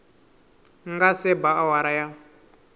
nga se ba awara ya